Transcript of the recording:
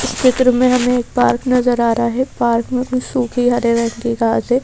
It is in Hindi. चित्र में हमें एक पार्क नजर आ रहा है पार्क में कुछ सूखी हरे रंग की घास है।